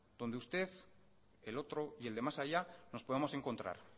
donde usted el otro y el de más allá nos podemos encontrar